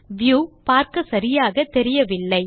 view பார்க்க சரியாக தெரியவில்லை